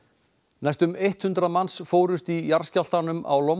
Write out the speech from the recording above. næstum eitt hundrað manns fórust í jarðskjálftanum á